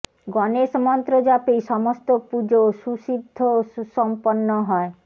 গণেশ মন্ত্র জপেই সমস্ত পুজো সুসিদ্ধ ও সুসম্পন্ন হয়